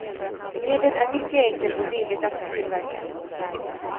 Medlet är mycket enkelt och billigt att tillverka.